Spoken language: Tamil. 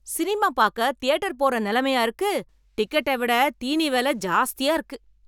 சினிமா பாக்க தியேட்டர் போற நெலைமையா இருக்கு, டிக்கெட்ட விட தீனி வெல ஜாஸ்தியா இருக்கு.